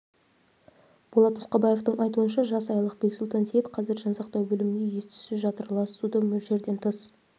болат нұсқабаевтың айтуынша жас айлық бексұлтан сейіт қазір жансақтау бөлімінде ес-түссіз жатыр лас суды мөлшерден тыс